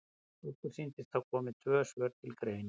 Okkur sýnist að þá komi tvö svör til greina.